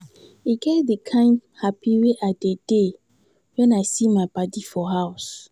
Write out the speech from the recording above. E get di kind hapi wey I dey dey wen I see my paddy for house.